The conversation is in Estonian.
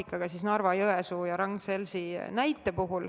Pean silmas Narva-Jõesuud ja Ragn-Sellsi.